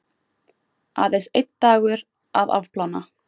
Aðeins einn dagur að afplána.